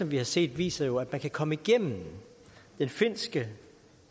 vi har set viser jo at man kan komme igennem den finske